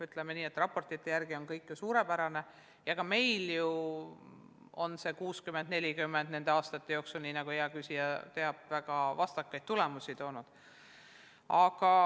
Ütleme nii, et raportite järgi on kõik suurepärane, aga ka meil ju on see 60 : 40 süsteem nende aastate jooksul, nii nagu hea küsija teab, väga vastakaid tulemusi toonud.